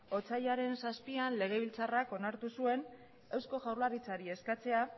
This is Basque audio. otsailaren zazpian legebiltzarrak onartu zuen eusko jaurlaritzari eskatzea